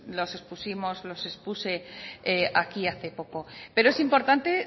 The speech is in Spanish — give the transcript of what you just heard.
los expusimos los expuse aquí hace poco pero es importante